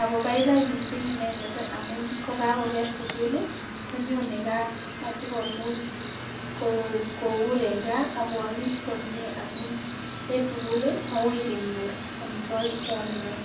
Ako baibai mising inendet amun kokakoker sugul. konyone gaa, asikomuch kobur en gaa, ako amis komyee, amun en sugul koui kenyor amitwagik che yamengee